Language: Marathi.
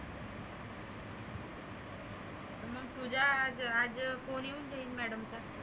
मग तुजा आज आज कोणी घेईन madam